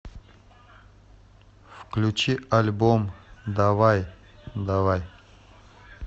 включи альбом давай давай